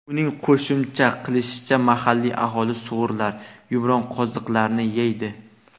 Uning qo‘shimcha qilishicha, mahalliy aholi sug‘urlar, yumronqoziqlarni yeydi.